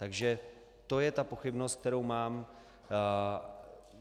Takže to je ta pochybnost, kterou mám.